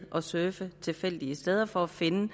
surfe tilfældige steder for at finde